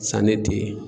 San ne te yen